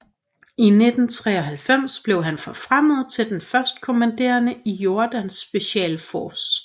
I 1993 blev han forfremmet til den førstkommanderende i Jordans Special Force